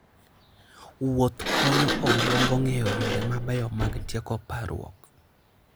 Wuoth konyo obwongo ng'eyo yore mabeyo mag tieko parruok.